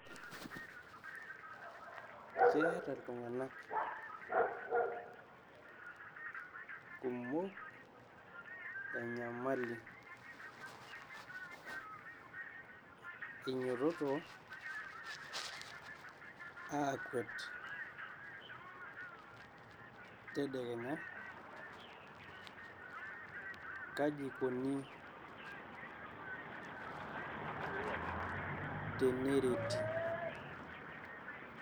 Keeta iltung'anak kumok enyamali, inyiototi aakwet tedekenya, kaji eikoni tenereti.